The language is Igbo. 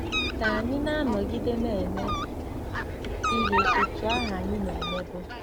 Ka ànyị na-anọgide na-eme ihe otú ahụ anyị na-emebu?